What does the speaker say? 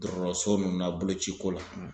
Dɔrɔrɔso ninnu na bolociko la